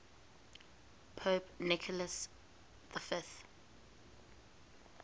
pope nicholas v